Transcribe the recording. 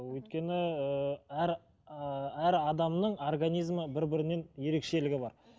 өйткені ыыы әр ыыы әр адамның организмі бір бірінен ерекшелігі бар